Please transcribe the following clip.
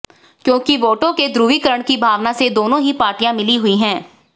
क्योंकि वोटों के ध्रुवीकरण की भावना से दोनों ही पार्टियां मिली हुई हैं